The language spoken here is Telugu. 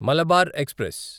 మలబార్ ఎక్స్ప్రెస్